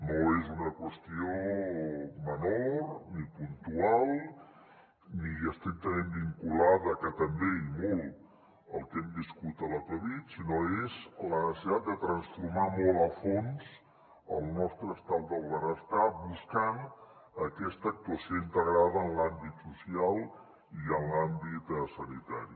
no és una qüestió menor ni puntual ni estrictament vinculada que també i molt al que hem viscut a la covid sinó que és la necessitat de transformar molt a fons el nostre estat del benestar buscant aquesta actuació integrada en l’àmbit social i en l’àmbit sanitari